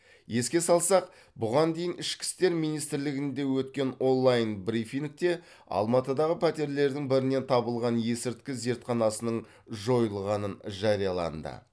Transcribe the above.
еске салсақ бұған дейін ішкі істер министрлігінде өткен онлайн брифингте алматыдағы пәтерлердің бірінен табылған есірткі зертханасының жойылғанын жарияланды